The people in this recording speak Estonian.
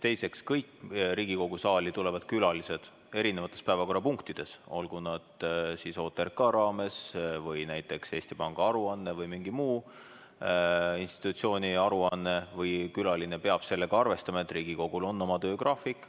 Teiseks, kõik Riigikogu saali tulevad külalised, erinevates päevakorrapunktides, olgu OTRK raames või näiteks Eesti Panga aruande või mingi muu institutsiooni aruande raames, peavad sellega arvestama, et Riigikogul on oma töögraafik.